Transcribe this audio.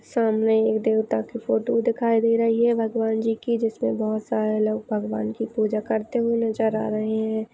सामने एक देवता की फोटू दिखाई दे रही है भगवानजी की जिसमे बहुत सारे लोग भगवान की पूजा करते हुए नजर आ रहे है।